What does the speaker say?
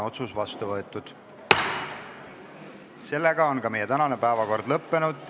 Otsus on vastu võetud ja meie tänane päevakord lõppenud.